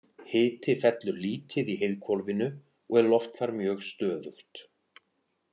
Hiti fellur lítið í heiðhvolfinu og er loft þar mjög stöðugt.